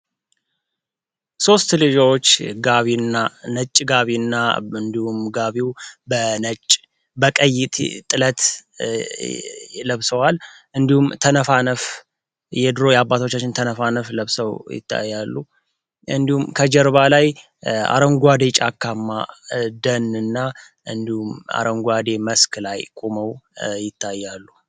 ሶስት ልጆች ጋቢና ነጭ ጋቢና እንዲሁ በነጭ በቀይ ጥላት የለብሰዋል እንዲሁም ተነፋነፍ የድሮ የአባቶቻችን ተነፋነፍሰው ይታያሉ እንዲሁም ከጀርባ ላይ አረንጓዴ ጫካ ደህንና እንዲሁም አረንጓዴ መስከረም ይታያሉ